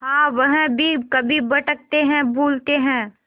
हाँ वह भी कभी भटकते हैं भूलते हैं